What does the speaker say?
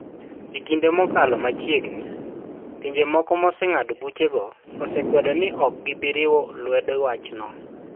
E kinde mokalo machiegni, pinje moko moseng'ado buchego osekwedo ni ok gibi riwo lwedo wachno.